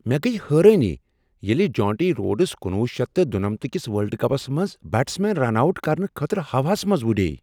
مےٚ گٔیہ حٲرٲنی ییٚلہ جونٹی روڈس کنُوُہ شیتھ تہٕ دُنمتھ کِس ورلڈ کپس منٛز بیٹسمینس رن آوٹ کرنہٕ خٲطرٕ ہوہَس منٛز وُڈیو۔